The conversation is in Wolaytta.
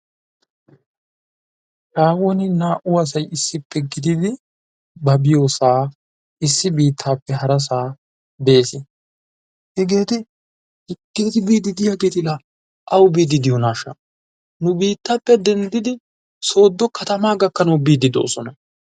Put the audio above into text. haahuwan naa'u asay issippe gididi ba diyoosaa issi biitaappe harasaa bees, hegeeti biidi diyageeti laa awu biidi diyoonaasha nu biitappe denddidi soodo katamaa gakanawu biidi de'oosona.